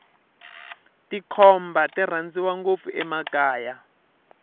tikhomba ti rhandziwa ngopfu emakaya